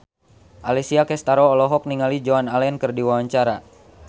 Alessia Cestaro olohok ningali Joan Allen keur diwawancara